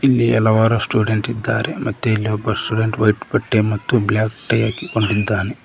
ಇಲ್ಲಿ ಹಲವಾರು ಸ್ಟೂಡೆಂಟ್ ಇದ್ದಾರೆ ಮತ್ತೆ ಇಲ್ಲಿ ಒಬ್ಬ ಸ್ಟೂಡೆಂಟ್ ವೈಟ್ ಬಟ್ಟೆ ಮತ್ತು ಬ್ಲಾಕ್ ಟೈ ಹಾಕಿಕೊಂಡಿದ್ದಾನೆ.